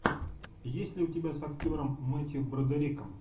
есть ли у тебя с актером мэттью бродериком